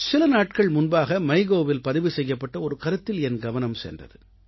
சில நாட்கள் முன்பாக MyGovஇல் பதிவு செய்யப்பட்ட ஒரு கருத்தில் என் கவனம் சென்றது